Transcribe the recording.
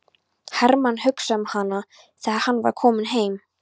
Hermann hugsaði um hana þegar hann var kominn heim.